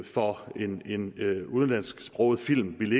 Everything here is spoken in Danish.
for en udenlandsksproget film ville